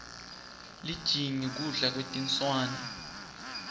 lijingi kudla kwetinswane